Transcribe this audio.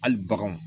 Hali baganw